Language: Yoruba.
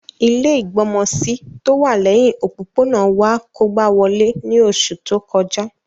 Ilẹ́ ìgbọmọsí tówà lẹhin òpópónà wa kógba wolé ni oṣu to kọja.